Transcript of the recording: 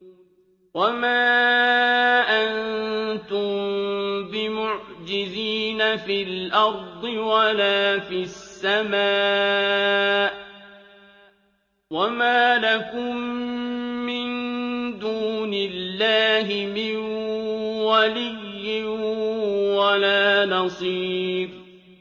وَمَا أَنتُم بِمُعْجِزِينَ فِي الْأَرْضِ وَلَا فِي السَّمَاءِ ۖ وَمَا لَكُم مِّن دُونِ اللَّهِ مِن وَلِيٍّ وَلَا نَصِيرٍ